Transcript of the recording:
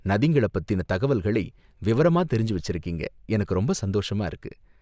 நதிங்கள பத்தின தகவல்களை விவரமா தெரிஞ்சு வச்சிருக்கிறீங்க, எனக்கு ரொம்ப சந்தோஷமா இருக்கு.